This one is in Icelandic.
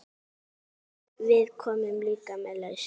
Við komum líka með lausn.